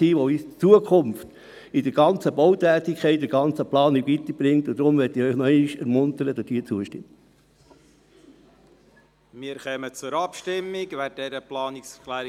Die Abstimmung von Siedlungs- und Verkehrsentwicklung soll auch die Erarbeitung und Planung von Massnahmen zur Reduktion der Verkehrsentwicklung beinhalten.